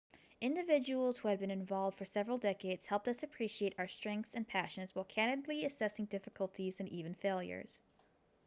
individuals who had been involved for several decades helped us appreciate our strengths and passions while candidly assessing difficulties and even failures